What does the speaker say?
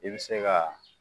I bi se ka